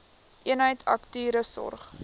eenheid akute sorg